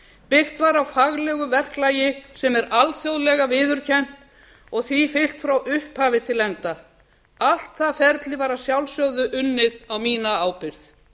byggt var á faglegum verklagi sem er alþjóðlega viðurkennt og því fylgt frá upphafi til enda allt það ferli var að sjálfsögðu unnið á mína ábyrgð